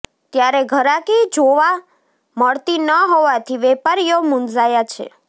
ત્યારે ઘરાકી જોવા મળતી ન હોવાથી વેપારીઓ મૂંઝાયા છે